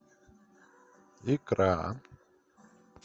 икра